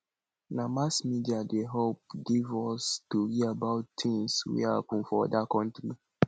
na mass media dey help give us tori about tins wey happen for oda county